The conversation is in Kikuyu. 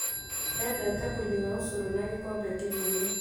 Endete kũnyua ũcũrũna gĩkombe kĩnene